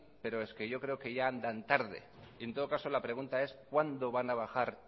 pero es que yo creo que ya andan tarde y en todo caso la pregunta es cuándo van a bajar